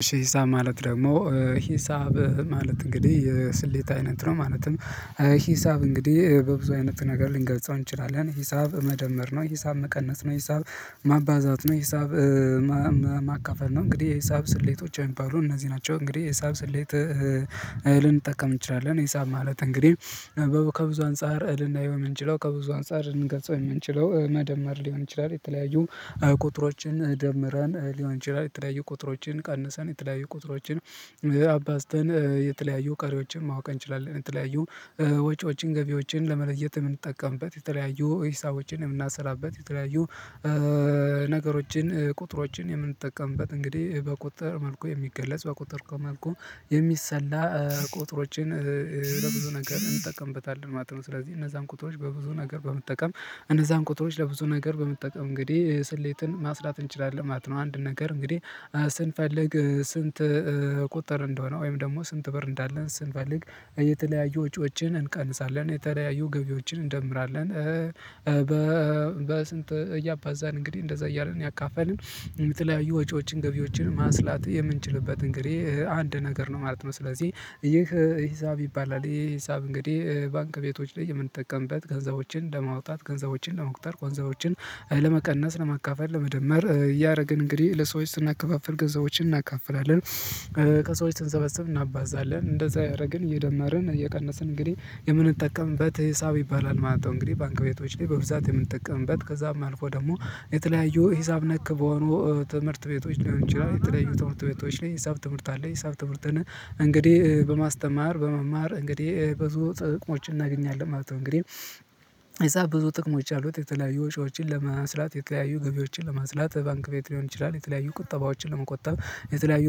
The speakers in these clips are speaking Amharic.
እሺ ሂሳብ ማለት ደግሞ ሂሳብ ማለት እንግዲህ የስሌት አይነት ነው ማለትም። ሂሳብ እንግዲህ በብዙ አይነት ነገር ልንገልጸው እንችላለን ሂሳብ መደመር ነው። ሂሳብ መቀነስ ነው። ሂሳብ ማባዛት ነው። ሂሳብ ማካፈል ነው። እንግዲህ የሂሳብ ስሌቶች የሚባሉ እነዚህ ናቸው። እንግዲህ የሂሳብ ስሌት ልንጠቀም እንችላለን። ሂሳብ ማለት እንግዲህ ከብዙ አንፃር ልንናየው የምንችለው ከብዙ አንፃር ልንገፀው የምንችለው መደመር ሊሆን ይችላል። የተለያዩ ቁጥሮችን ደምረን ሊሆን ይችላል የተለያዩ ቁጥሮችን ቀንሰን የተለያዩ ቁጥሮችን አባዝተን የተለያዩ ቀሪዎችን ማወቅ እንችላለን። የተለያዩ ወጪዎችን ገቢዎችን ለመለየት የምንጠቀምበት የተለያዩ ሂሳቦችን የምናሰላበት የተለያዩ ነገሮችን ቁጥሮችን የምንጠቀምበት እንግዲህ በቁጥር መልኩ የሚገለጽ በቁጥር ከመልኩ የሚሰላ ቁጥሮችን ለብዙ ነገር እንጠቀምበታለን ማለት ነው። ስለዚህ እነዛን ቁጥሮች በብዙ ነገር በመጠቀም እነዛን ቁጥሮች ለብዙ ነገር በመጠቀም እንግዲህ ስሌትን ማስላት እንችላለን ማለት ነው። አንድን ነገር እንግዲህ ስንፈልግ ስንት ቁጠር እንደሆነ ወይም ደግሞ ስንት ብር እንዳለን ስንፈልግ የተለያዩ ወጪዎችን እንቀንሳለን የተለያዩ ገቢዎችን እንደምራለን። በስንት እያባዛን እንግዲህ እንደዛ እያረግን እያካፈልን የተለያዩ ወጪዎችን ገቢዎችን ማስላት የምንችልበት እንግዲህ አንድ ነገር ነው ማለት ነው። ስለዚህ ይህ ሂሳብ ይባላል። ይህ ሂሳብ እንግዲህ ባንክ ቤቶች ላይ የምንጠቀምበት ገንዘቦችን ለማውጣት ገንዘቦችን ለመቁጠር ጎንዘቦችን ለመቀነስ ለማካፈል ለመደመር እያደረግን እንግዲህ ለሰዎች ስናከፋፍል ገንዘቦችን እናካፍላለን። ከሰዎች ስንሰበስብ እናባዛለን እንደዛ ያደረግን እየደመርን እየቀነስን እንግዲህ የምንጠቀምበት ሂሳብ ይባላል ማለት ነው። እንግዲህ ባንክ ቤቶች ላይ በብዛት የምንጠቀምበት ከዛም አልፎ ደግሞ የተለያዩ ሂሳብ ነክ በሆኑ ትምህርት ቤቶች ሊሆን ይችላል። የተለያዩ ትምህርት ቤቶች ላይ ሂሳብ ትምህርት አለ ሂሳብ ትምህርትን እንግዲህ በማስተማር በመማር እንግዲህ ብዙ ጥቅሞችን እናገኛለን ማለት ነው። እንግዲህ እዛ ብዙ ጥቅሞች አሉት። የተለያዩ ወጪዎችን ለማስላት የተለያዩ ገቢዎችን ለማስላት ባንክ ቤት ሊሆን ይችላል የተለያዩ ቁጠባዎችን ለመቆጠብ የተለያዩ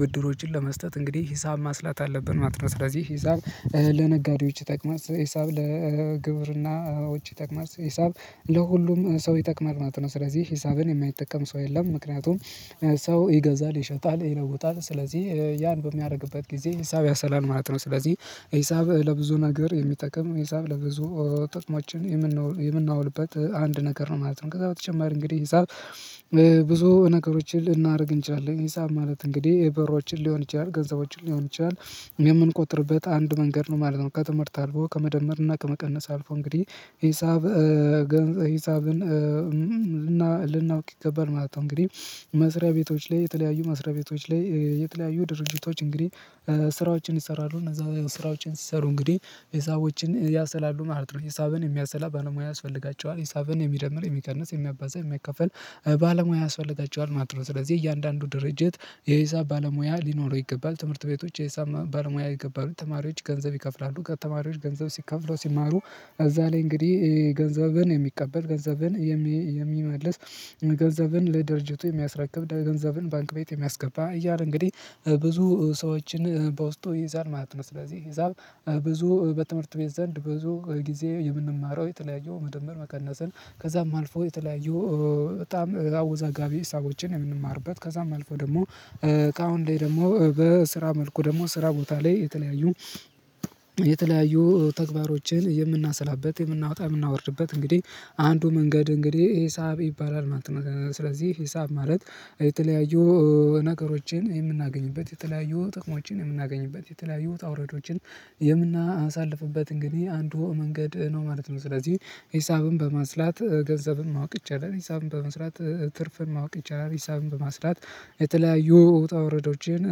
ብድሮችን ለመስጠት እንግዲህ ሂሳብ ማስላት አለብን ማለት ነው። ስለዚህ ሂሳብ ለነጋዴዎች ይጠቅማል ሂሳብ ለግብርናዎች ይጠቅማል ሂሳብ ለሁሉም ሰው ይጠቅማል ማለት ነው። ስለዚህ ሂሳብን የማይጠቀም ሰው የለም ምክንያቱም ሰው ይገዛል ይሸጣል ይለውጣል ስለዚህ ያን በሚያደርግበት ጊዜ ሂሳብ ያሰላል ማለት ነው። ስለዚህ ሂሳብ ለብዙ ነገር የሚጠቅም ሂሳብ ለብዙ ጥቅሞችን የምናውልበት አንድ ነገር ነው ማለት ነው። ከዛ በተጨማሪ እንግዲህ ሂሳብ ብዙ ነገሮችን ልናደርግ እንችላለን። ሂሳብ ማለት እንግዲህ ብሮችን ሊሆን ይችላል ገንዘቦችን ሊሆን ይችላል የምንቆጥርበት አንዱ መንገድ ነው ማለት ነው። ከትምህርት አልፎ ከመደመር እና ከመቀነስ አልፎ እንግዲህ ሂሳብ ሂሳብን ይገባል ማለት ነው። እንግዲህ መስሪያ ቤቶች ላይ የተለያዩ መስሪያ ቤቶች ላይ የተለያዩ ድርጅቶች እንግዲህ ስራዎችን ይሰራሉ እነዛ ስራዎችን ሲሰሩ እንግዲህ ሂሳቦችን ያሰላሉ ማለት ነው። ሂሳብን የሚያሰላ ባለሙያ ያስፈልጋቸዋል ሂሳብን የሚደምር የሚቀንስ የሚያባዛ የሚያካፍል ባለሙያ ያስፈልጋቸዋል ማለት ነው። ስለዚህ እያንዳንዱ ድርጅት የሂሳብ ባለሙያ ሊኖረው ይገባል። ትምህርት ቤቶች የሂሳብ ባለሙያ ይገባሉ ተማሪዎች ገንዘብ ይከፍላሉ ተማሪዎች ገንዘብ ከፍለው ሲማሩ። እዛ ላይ እንግዲህ ገንዘብን የሚቀበል ገንዘብን የሚመልስ ገንዘብን ለድርጅቱ የሚያስረክብ ገንዘብን ባንክ ቤት የሚያስገባ እያለ እንግዲህ ብዙ ሰዎችን በውስጡ ይይዛል ማለት ነው። ስለዚህ ሂሳብ ብዙ በትምህርት ቤት ዘንድ ብዙ ጊዜ የምንማረው የተለያዩ መደመር መቀነስን ከዛም አልፎ የተለያዩ በጣም አወዛጋቢ ሀሳቦችን የምንማርበት ከዛም አልፎ ደግሞ ከአሁን ላይ ደግሞ በስራ መልኩ ደግሞ ስራ ቦታ ላይ የተለያዩ የተለያዩ ተግባሮችን የምናሰላበት የምናወጣ የምናወርድበት እንግዲህ አንዱ መንገድ እንግዲህ ሂሳብ ይባላል ማለት ነው። ስለዚህ ሂሳብ ማለት የተለያዩ ነገሮችን የምናገኝበት የተለያዩ ጥቅሞችን የምናገኝበት የተለያዩ ውጣ ውረዶችን የምናሳልፍበት እንግዲህ አንዱ መንገድ ነው ማለት ነው። ስለዚህ ሂሳብን በማስላት ገንዘብን ማወቅ ይቻላል ሂሳብን በመስራት ትርፍን ማወቅ ይቻላል ሂሳብን በማስላት የተለያዩ ውጣ ውረዶችን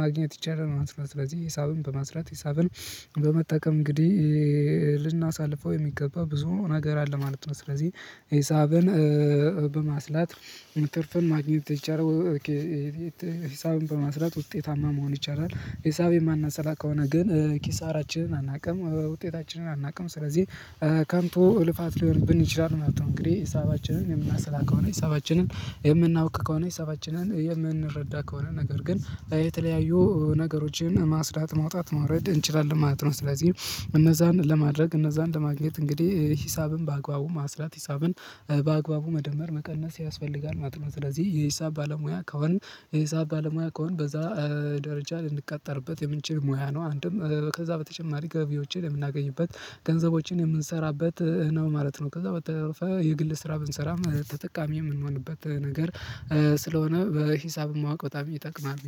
ማግኘት ይቻላል ማለት ነው። ስለዚህ ሂሳብን በመስላት ሂሳብን በመጠቀም እንግዲህ ልናሳልፈው የሚገባ ብዙ ነገር አለ ማለት ነው። ስለዚህ ሂሳብን በማስላት ትርፍን ማግኘት ይቻላል። ሂሳብን በማስላት ውጤታማ መሆን ይቻላል። ሂሳብ የማናሰላ ከሆነ ግን ኪሳራችንን አናውቅም ውጤታችንን አናውቅም ስለዚህ ከንቱ ልፋት ሊሆንብን ይችላል ማለት ነው። እንግዲህ ሂሳባችንን የምናሰላ ከሆነ ሂሳባችንን የምናውቅ ከሆነ ሂሳባችንን የምንረዳ ከሆነ ነገር ግን የተለያዩ ነገሮችን ማስላት ማውጣት ማውረድ እንችላለን ማለት ነው። ስለዚህ እነዛን ለማድረግ እነዛን ለማግኘት እንግዲህ ሂሳብን በአግባቡ ማስላት ሂሳብን በአግባቡ መደመር መቀነስ ያስፈልጋል ማለት ነው። ስለዚህ የሂሳብ ባለሙያ ከሆን የሂሳብ ባለሙያ ከሆን በዛ ደረጃ ልንቀጠርበት የምንችል ሙያ ነው። አንድም ከዛ በተጨማሪ ገቢዎችን የምናገኝበት ገንዘቦችን የምንሰራበት ነው ማለት ነው። ከዛ በተረፈ የግል ስራ ብንሰራም ማለት ተጠቃሚ የምንሆንበት ነገር ስለሆነ በሂሳብ ማወቅ በጣም ይጠቅማል